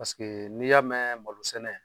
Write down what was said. Paseke n'i y'a mɛn malo sɛnɛ